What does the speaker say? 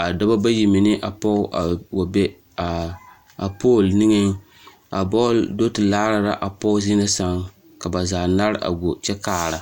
a dɔbɔ bayi mine meŋ ne pɔge a wa be a pool niŋeŋ bɔɔl do te laara la a pɔge zie na sɛŋ ka ba zaa nare a go kyɛ kaara.